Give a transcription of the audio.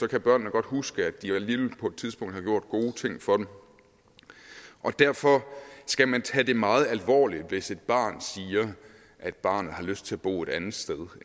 kan børnene godt huske at de alligevel på et tidspunkt har gjort gode ting for dem og derfor skal man tage det meget alvorligt hvis et barn siger at barnet har lyst til at bo et andet sted